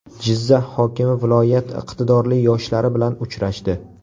Jizzax hokimi viloyat iqtidorli yoshlari bilan uchrashdi.